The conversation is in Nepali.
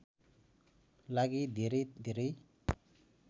लागि धेरै धेरै